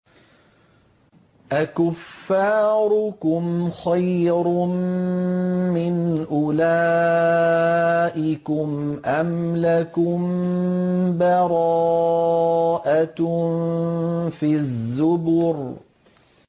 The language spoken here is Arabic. أَكُفَّارُكُمْ خَيْرٌ مِّنْ أُولَٰئِكُمْ أَمْ لَكُم بَرَاءَةٌ فِي الزُّبُرِ